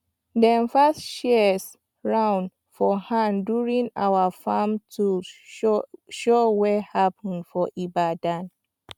dem pass shears round for hand during our farm tools show wey happen for ibadan